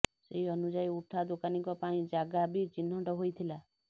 ସେହି ଅନୁଯାୟୀ ଉଠା ଦୋକାନୀଙ୍କ ପାଇଁ ଜାଗା ବି ଚିହ୍ନଟ ହୋଇଥିଲା